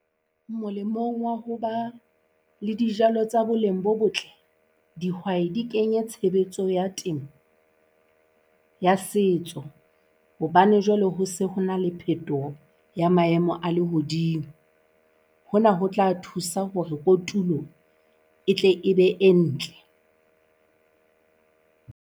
Molemong wa ho ba le dijalo tsa boleng bo botle, dihwai di kenya tshebetso ya temo ya setso hobane jwale ho se hona le phetoho ya maemo a lehodimo. Hona ho tla thusa hore kotulo e tle e be e ntle.